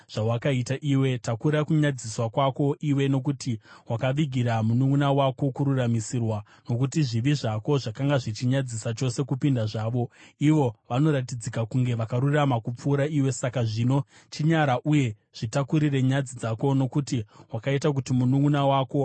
Takura kunyadziswa kwako iwe, nokuti wakavigira mununʼuna wako kururamisirwa. Nokuti zvivi zvako zvakanga zvichinyadzisa chose kupinda zvavo, ivo vanoratidzika kunge vakarurama kupfuura iwe. Saka zvino, chinyara uye zvitakurire nyadzi dzako, nokuti wakaita kuti mununʼuna wako ave akarurama.